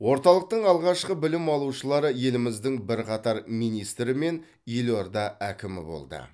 орталықтың алғашқы білім алушылары еліміздің бірқатар министрі мен елорда әкімі болды